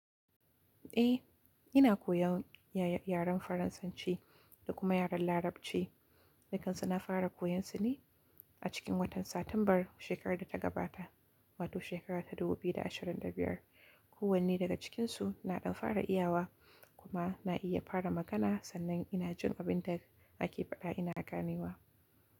Eh, ina koyan yaren Faransanci da kuma yaren Larabci, duk kansu na fara koyarsu ne a cikin watan Satimbar shekarar da ta gabata, wato shekara ta 2025. Kowane daga cikinsu na ɗan fara iyawa kuma na iya fara magana sannan ina jin abin da ake faɗa ina gane wa.